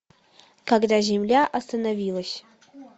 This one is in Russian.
когда земля остановилась